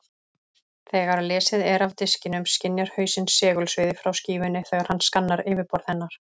Þegar lesið er af diskinum skynjar hausinn segulsviðið frá skífunni þegar hann skannar yfirborð hennar.